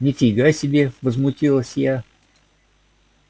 ни фига себе возмутилась я